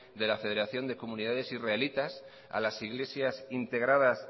de la federación de comunidades israelitas a las iglesias integradas